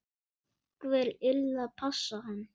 Einhver yrði að passa hann.